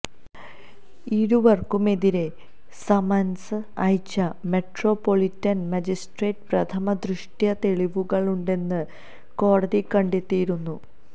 ഇരുവര്ക്കും എതിരെ സമന്സ് അയച്ച metropolitan magistrate പ്രഥമദൃഷ്ട്യാ തെളിവുകളുണ്ടെന്ന് കോടതി കണ്ടെത്തിയിരുന്നു